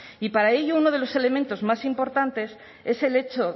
y para ello uno de los elementos más importantes es el hecho